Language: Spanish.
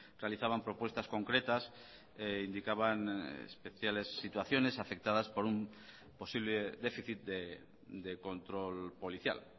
realizaban propuestas concretas indicaban especiales situaciones afectadas por un posible déficit de control policial